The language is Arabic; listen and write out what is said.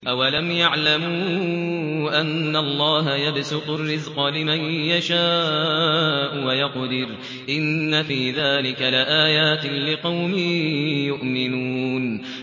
أَوَلَمْ يَعْلَمُوا أَنَّ اللَّهَ يَبْسُطُ الرِّزْقَ لِمَن يَشَاءُ وَيَقْدِرُ ۚ إِنَّ فِي ذَٰلِكَ لَآيَاتٍ لِّقَوْمٍ يُؤْمِنُونَ